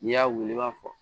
N'i y'a wili i b'a fɔ